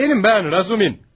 Mənim, mən, Razumi.